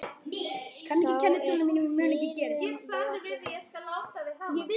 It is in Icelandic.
Þá er dyrum lokið upp.